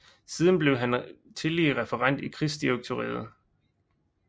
Siden blev han tillige referent i Krigsdirektoriet